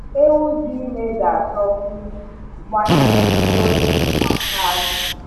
Ewu dị ime ga achọkwu mgbanyere protein na calcium